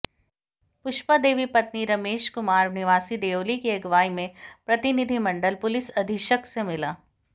पुष्पा देवी पत्नी रमेश कुमार निवासी दयोली की अगवाई में प्रतिनिधिमंडल पुलिस अधीक्षक से मिला